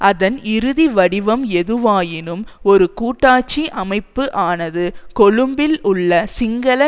அதன் இறுதி வடிவம் எதுவாயினும் ஒரு கூட்டாட்சி அமைப்பு ஆனது கொழும்பில் உள்ள சிங்கள